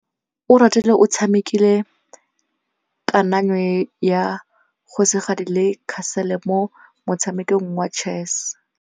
Oratile o tshamekile kananyô ya kgosigadi le khasêlê mo motshamekong wa chess.